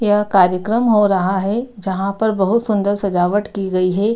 यह कार्यक्रम हो रहा है जहाँ पर बहुत सुंदर सजावट की गई है।